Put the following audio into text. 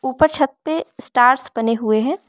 ऊपर छत पे स्टार्स बने हुए हैं।